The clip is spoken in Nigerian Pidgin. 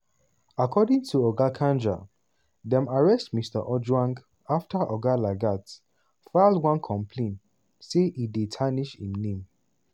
according to oga kanja dem arrest mr ojwang afta oga lagat file one complain say e dey "tarnish" im name.